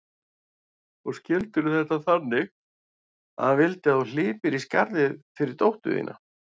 Og skildirðu þetta þannig að hann vildi að þú hlypir í skarðið fyrir dóttur þína?